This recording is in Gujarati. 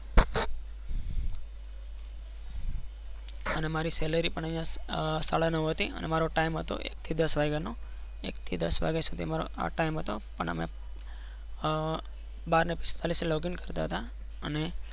અને મારી salary પણ અહિયાં સાડા નવ હતી અને મારો ટાઇમ હતો એક થી દસ વાઈવાનો હતો અને અમે બાર ને પિસ્તાળીસે logine કરતા હતા. અને